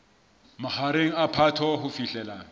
mahareng a phato ho fihlela